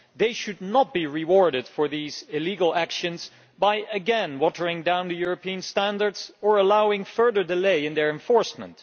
They should not be rewarded for these illegal actions by again watering down the European standards or allowing further delay in their enforcement.